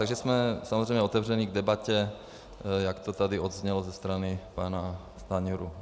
Takže jsme samozřejmě otevření k debatě, jak to tady odeznělo ze strany pana Stanjury.